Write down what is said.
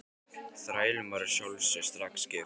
Þrælunum var að sjálfsögðu strax gefið frelsi.